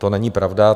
To není pravda.